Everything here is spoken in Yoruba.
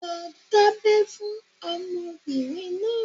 lọ dábẹ́ fún ọmọbirin náà!